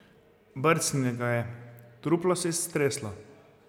Brcnila ga je, truplo se je streslo.